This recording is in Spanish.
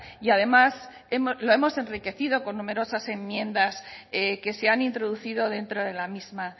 y además hemos lo hemos enriquecido con numerosas enmiendas que se han introducido dentro de la misma